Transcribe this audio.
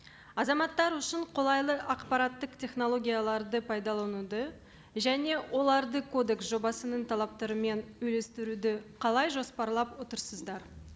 азаматтар үшін қолайлы ақпараттық технологияларды пайдалануды және оларды кодекс жобасының талаптарымен үйлестіруді қалай жоспарлап отырсыздар